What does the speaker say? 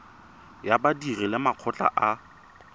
ya badiri le makgotla a